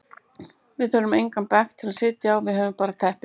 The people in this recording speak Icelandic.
Við þurfum engan bekk til að sitja á, við höfum bara teppi.